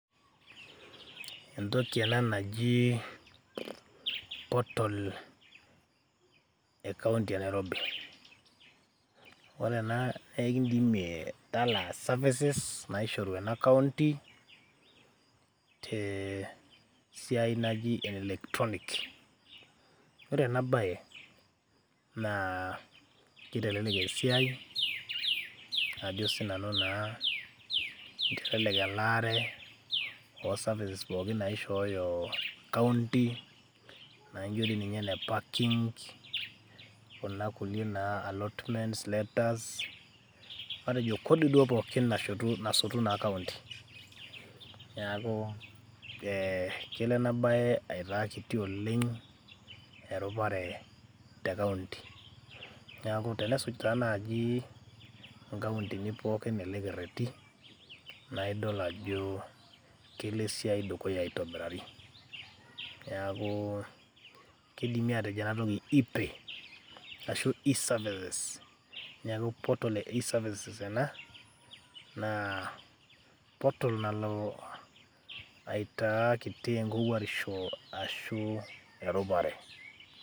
Entoki ena naji portal e county e Nairobi, ore ena naa kekindimie talaa services, naishoru ena county te siai naji ene electronics. Ore ena baye naa kitelelek esiai ajo sinanu naa kitelelek elaare o services pookin naishooyo [c]s county naijo ninye ene parking, kuna kuliek naa allotment letters, matejo kodi duo pookin nasotu naa county. Neeku ee kelo ena baye aitaa kiti oleng' erupare te county. Neeku enesuj taa nai nkauntini pookin ele kerereri nae idol ajo kelo esiai dukuya aitobirari. Neeku kidimi atejo ena toki e-pay ashu e sevices . Neeku portal e e services ena naa portal nalo aitaa kiti enkowuarisho ashu erupare.